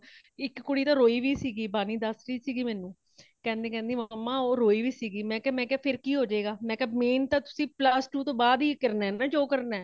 ਕੇਂਦੇ ਕੇਂਦੀ mama ਉਹ ਰੋਈ ਵੀਸੀ ,ਮੇਕਯਾ ਫ਼ੇਰ ਕੀ ਹੋਜਾਏ ਗਾ ਮੇਕਯਾ ਮੈਨ ਤਾ ਤੁਸੀ plus two ਤੋਂ ਬਾਦ ਹੈ ਕਰਨਾ ਹੇ ਜੋ ਕਰਨਾ ਹੇ ਮੈ ਕਯਾ